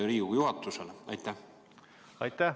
Aitäh!